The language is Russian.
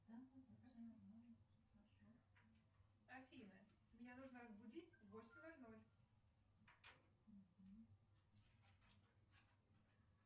афина меня нужно разбудить в восемь ноль ноль